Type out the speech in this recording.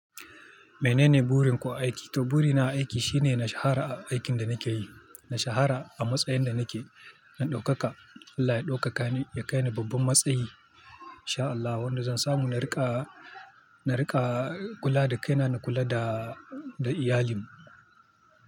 Menene burin ku a aiki? To buri na aiki shine na shahara a aikin da nake yi, na shahara a matsayin da nake, na ɗaukaka. Allah ya ɗaukaka ni ya kai ni babban matsayi in sha Allah. Wanda zan samu na riƙa, na riƙa kula da kai na, na kula da, da iyalina.